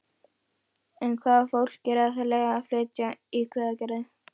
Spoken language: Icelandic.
En hvaða fólk er aðallega að flytja í Hveragerði?